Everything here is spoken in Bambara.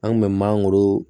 An kun bɛ mangoro